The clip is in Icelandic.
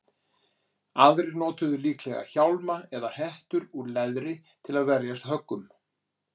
aðrir notuðu líklega hjálma eða hettur úr leðri til að verjast höggum